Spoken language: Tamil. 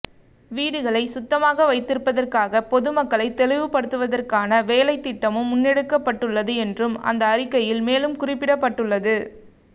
வீடுகளை சுத்தமாக வைத்திருப்பதற்காக பொதுமக்களை தெளிவுபடுத்துவதற்கான வேலைத்திட்டமும் முன்னெடுக்கப்பட்டுள்ளதுஎன்றும் அந்த அறிக்கையில் மேலும் குறிப்பிடப்பட்டுள்ளது